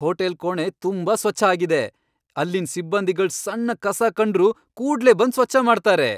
Hotel ಕೋಣೆ ತುಂಬಾ ಸ್ವಚ್ಛ ಆಗಿದೆ, ಅಲ್ಲಿನ್ ಸಿಬ್ಬಂದಿಗಳ್ ಸಣ್ ಕಸ ಕಂಡ್ರು ಕೂಡ್ಲೇ ಬಂದ್ ಸ್ವಚ್ಛ ಮಾಡ್ತಾರೆ.